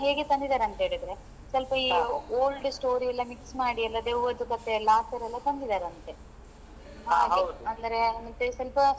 ಹೇಗೆ ತಂದಿದಾರೆ ಅಂಥೇಳಿದ್ರೆ ಸ್ವಲ್ಪ ಈ old story ಎಲ್ಲಾ mix ಮಾಡಿ ಎಲ್ಲ ದೆವ್ವದ್ದು ಕತೆ ಎಲ್ಲಾ ಆತರ ತಂದಿದ್ದಾರೆ ಅಂತೆ ಅಂದ್ರೆ ಮತ್ತೇ ಸ್ವಲ್ಪ.